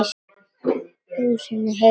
Húsið enn heilt.